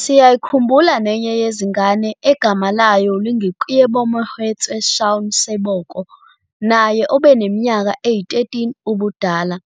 Siyayikhumbula nenye yezingane egama layo lingu-Keabomohetswe Shaun Seboko, naye obeneminyaka eyi-13 ubudala,